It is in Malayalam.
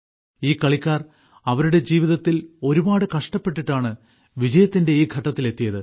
ഈ കളിക്കാർ അവരുടെ ജീവിതത്തിൽ ഒരുപാട് കഷ്ടപ്പെട്ടിട്ടാണ് വിജയത്തിന്റെ ഈ ഘട്ടത്തിൽ എത്തിയത്